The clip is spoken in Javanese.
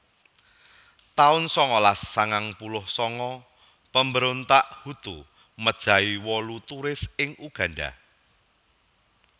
taun sangalas sangang puluh sanga Pemberontak Hutu mejahi wolu turis ing Uganda